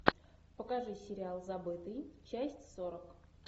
покажи сериал забытый часть сорок